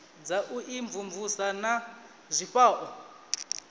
dza u imvumvusa na zwifhao